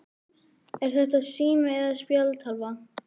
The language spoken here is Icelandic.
Er þetta sími eða spjaldtölva?